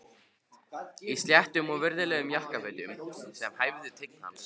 Í sléttum og virðulegum jakkafötum sem hæfðu tign hans.